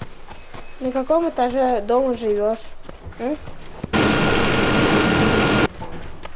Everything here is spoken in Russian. на каком этаже дома живешь